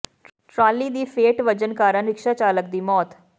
trolley ਦੀ ਫੇਟ ਵੱਜਣ ਕਾਰਨ ਰਿਕਸ਼ਾ ਚਾਲਕ ਦੀ ਮੌਤ